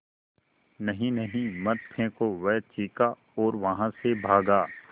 नहीं नहीं मत फेंको वह चीखा और वहाँ से भागा